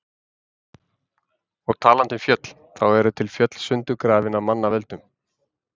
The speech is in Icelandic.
Og talandi um fjöll, þá eru til fjöll sundurgrafin af manna völdum.